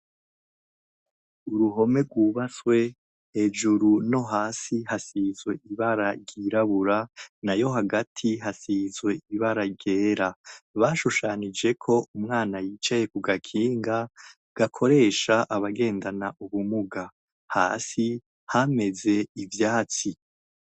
Uruhome rwubatswe hejuru no hasi hasizwe ibara ryirabura na yo hagati hasize ibara ryera bashushanijeko umwana yicaye ku gakinga gakoresha abagendana ubumuga hasi hameze ivyatsi.